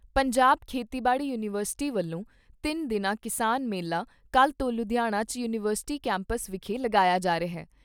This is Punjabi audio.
ਪੰਜਾਬ ਖੇਤੀਬਾੜੀ ਯੂਨੀਵਰਸਿਟੀ ਵੱਲੋਂ ਤਿੰਨ ਦਿਨਾਂ ਕਿਸਾਨ ਮੇਲਾ ਕੱਲ੍ਹ ਤੋਂ ਲੁਧਿਆਣਾ 'ਚ ਯੂਨੀਵਰਸਿਟੀ ਕੈਂਪਸ ਵਿਖੇ ਲਗਾਇਆ ਜਾ ਰਿਹਾ।